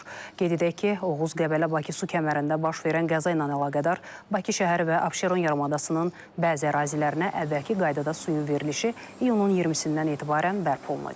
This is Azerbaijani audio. Qeyd edək ki, Oğuz-Qəbələ-Bakı su kəmərində baş verən qəza ilə əlaqədar Bakı şəhəri və Abşeron yarımadasının bəzi ərazilərinə əvvəlki qaydada suyun verilişi iyunun 20-dən etibarən bərpa olunacaq.